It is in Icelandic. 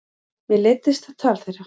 Mér leiddist það tal þeirra.